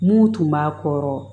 Mun tun b'a kɔrɔ